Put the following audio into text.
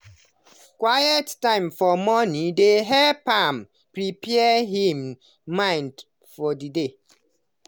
quiet time for morning dey help am prepare him mind for the day.